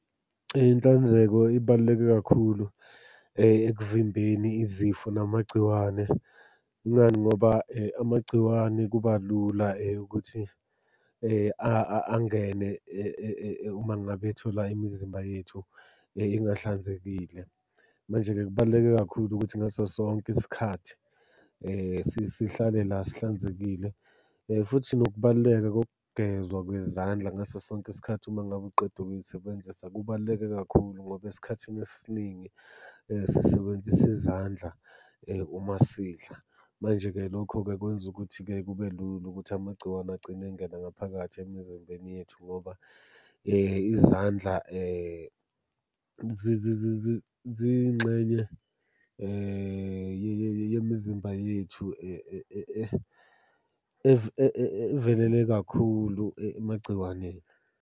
Inhlanzeko ibaluleke kakhulu ekuvimbeni izifo namagciwane. Ingani, ngoba amagciwane kuba lula ukuthi angene uma ngabe ethola imizimba yethu ingahlanzekile. Manje-ke kubaluleke kakhulu ukuthi ngaso sonke isikhathi sihlale la sihlanzekile, futhi nokubaluleka kokugezwa kwezandla ngaso sonke isikhathi uma ngabe uqeda ukuy'sebenzisa. Kubaluleke kakhulu ngoba esikhathini esiningi sisebenzisa izandla uma sidla. Manje-ke lokho-ke kwenza ukuthi-ke kube lula ukuthi amagciwane agcine engena ngaphakathi emizimbeni yethu ngoba izandla ziyingxenye yemizimba yethu evelele kakhulu emagciwaneni.